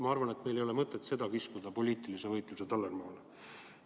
Ma arvan, et meil ei ole mõtet kiskuda seda poliitilise võitluse tallermaale.